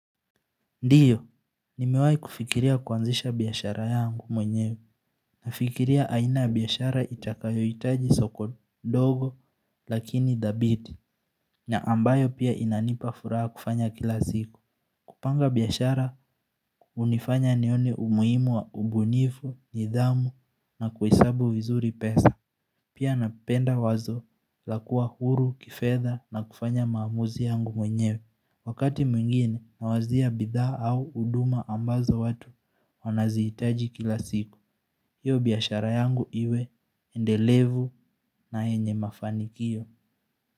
Ndiyo, nimewahi kufikiria kuanzisha biashara yangu mwenyewe. Nafikiria aina ya biashara itakayohitaji soko dogo lakini dhabiti. Na ambayo pia inanipa furaha kufanya kila siku. Kupanga biashara hunifanya nione umuhimu wa ubunifu, nidhamu na kuhesabu vizuri pesa. Pia napenda wazo la kuwa huru, kifedha na kufanya maamuzi yangu mwenyewe. Wakati mwingine, nawazia bidhaa au huduma ambazo watu wanazihitaji kila siku. Hiyo biashara yangu iwe, endelevu na yenye mafanikio.